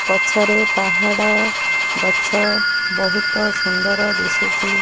ପଛରେ ପାହାଡ଼ ଗଛ ବହୁତ ସୁନ୍ଦର ଦିଶୁଚି।